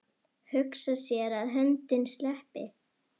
Hugsa sér að höndin sleppi.